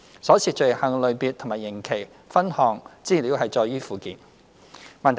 所涉罪行類別及刑期的分項資料載於附件。